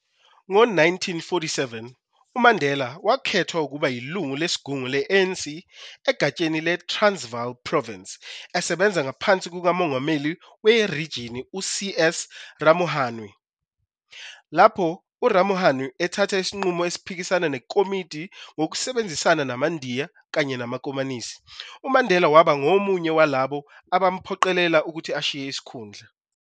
Ngo 1947, uMandela wakhethwa ukuba yilungu lesigungu le-ANC egatsheni le-Transvaal Province esebenza ngaphansi kukamongameli werijini, uC. S Ramohanoe. Lapho uRamohanoe ethatha isinqumo esiphikisana nekomidi, ngokusebenzisana namaNdiya kanye namakomanisi, uMandela waba ngomunye walabo abamphoqelela ukuthi ashiye isikhundla.